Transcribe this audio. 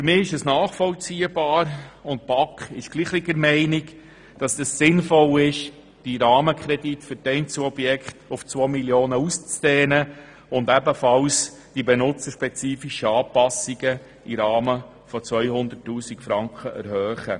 Für mich ist nachvollziehbar – und die BaK ist derselben Meinung –, dass es sinnvoll ist, die Rahmenkredite für die Einzelobjekte auf 2 Mio. auszudehnen und ebenfalls den Rahmen für die benutzerspezifischen Anpassungen auf 200 000 Franken zu erhöhen.